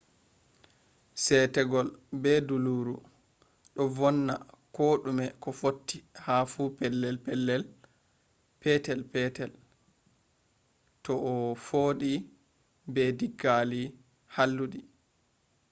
seetegol be dulluru do vonna ko dume ko fotti fu ha pelel petel to a foodi be diggali halludi